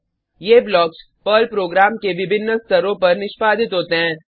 ये blocks Perl program के विभिन्न स्तरों पर निष्पादित होते हैं